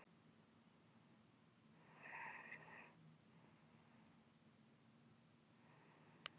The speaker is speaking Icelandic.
Samkvæmt mörgum voru þessi skilyrði ekki fyrir hendi í þessu tilfelli.